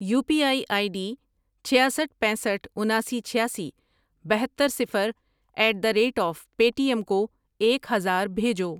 You P I I D چھیاسٹھ ،پینسٹھ ،اناسی، چھیاسی، بہتر، صفر at the rate of Paytm کو ایک ہزار بھیجو۔